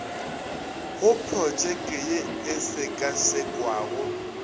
go protšeke ye e šekašekwago